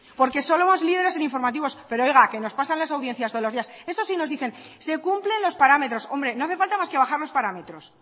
porque somos líderes en informativos pero oiga que nos pasan las audiencias todos los días eso sí nos dicen se cumplen los parámetros hombre no hace falta más que bajar los parámetros